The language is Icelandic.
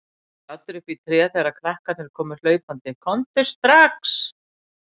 Var staddur uppi í tré þegar krakkarnir komu hlaupandi: Komdu strax!